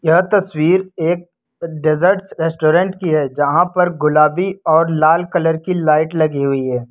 यह तस्वीर एक डेजर्ट रेस्टोरेंट की है यहां पर गुलाबी और लाल कलर की लाइट लगी हुई है।